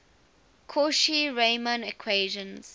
cauchy riemann equations